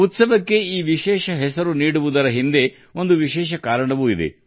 ಹಬ್ಬಕ್ಕೆ ಈ ವಿಶೇಷ ಹೆಸರು ಇಡುವುದರ ಹಿಂದೆಯೂ ಒಂದು ಕಾರಣವಿದೆ